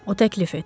O təklif etdi.